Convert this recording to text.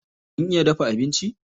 Kun iya dafa abinci?